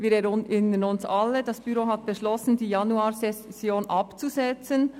Wir erinnern uns alle daran, dass das Büro beschloss, die Januarsession abzusetzen.